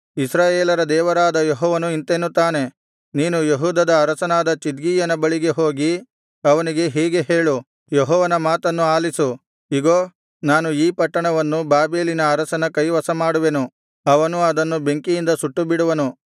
ಇಸ್ರಾಯೇಲರ ದೇವರಾದ ಯೆಹೋವನು ಇಂತೆನ್ನುತ್ತಾನೆ ನೀನು ಯೆಹೂದದ ಅರಸನಾದ ಚಿದ್ಕೀಯನ ಬಳಿಗೆ ಹೋಗಿ ಅವನಿಗೆ ಹೀಗೆ ಹೇಳು ಯೆಹೋವನ ಮಾತನ್ನು ಆಲಿಸು ಇಗೋ ನಾನು ಈ ಪಟ್ಟಣವನ್ನು ಬಾಬೆಲಿನ ಅರಸನ ಕೈವಶಮಾಡುವೆನು ಅವನು ಅದನ್ನು ಬೆಂಕಿಯಿಂದ ಸುಟ್ಟುಬಿಡುವನು